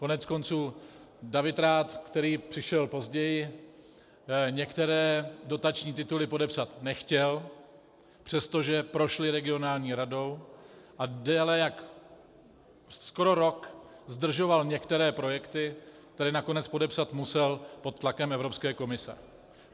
Koneckonců David Rath, který přišel později, některé dotační tituly podepsat nechtěl, přestože prošly regionální radou, a déle jak - skoro rok zdržoval některé projekty, které nakonec podepsat musel pod tlakem Evropské komise.